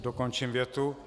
Dokončím větu.